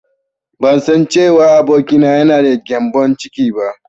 Bansan cewa abokina yana da gyambon ciki ba.